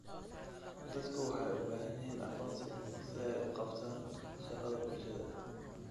Dadku waxay u baahan yihiin aqoonsi si ay u qabtaan shaqada bulshada.